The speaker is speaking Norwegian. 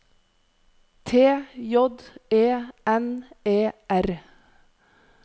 T J E N E R